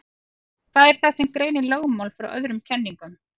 Hvað er það sem greinir lögmál frá öðrum kenningum?